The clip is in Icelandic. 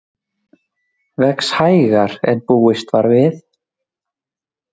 Vex hægar en búist var við